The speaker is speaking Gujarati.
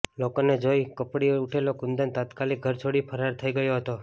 લોકોને જોઇ ફફળી ઉઠેલો કુંદન તાત્કાલીક ઘર છોડી ફરાર થઇ ગયો હતો